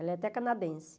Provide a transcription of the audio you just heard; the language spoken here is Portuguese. Ela é até canadense.